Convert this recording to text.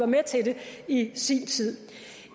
med til det i sin tid